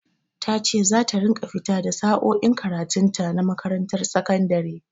Ta ce za ta ringa fita da sa'o'in karatun ta na makarantar sakandare.